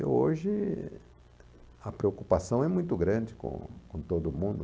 E hoje a preocupação é muito grande com com todo mundo.